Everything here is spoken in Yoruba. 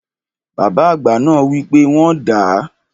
Bàbá àgbà náà wi pe wọ́n dàá.